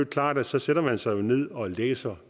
klart at så sætter man sig ned og læser